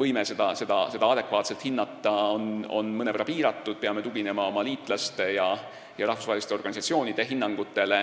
võime seda adekvaatselt hinnata on mõnevõrra piiratud, peame tuginema oma liitlaste ja rahvusvaheliste organisatsioonide hinnangutele.